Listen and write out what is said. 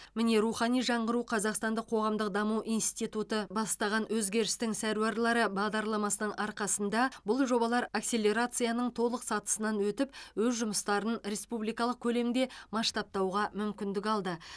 міне рухани жаңғыру қазақстандық қоғамдық даму институты бастаған өзгерістің сәруарлары бағдарламасының арқасында бұл жобалар акселерацияның толық сатысынан өтіп өз жұмыстарын республикалық көлемде масштабтауға мүмкіндік алды